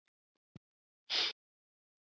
Að vakna.